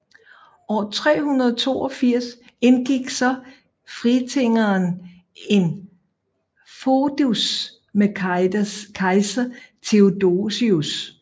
År 382 indgik så Fritigern en foedus med kejser Theodosius